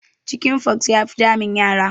Chicken pox ya fi damun yara